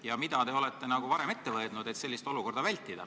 Ja mida te olete varem ette võtnud, et sellist olukorda vältida?